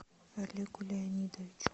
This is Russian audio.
олегу леонидовичу